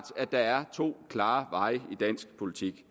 at der er to klare veje i dansk politik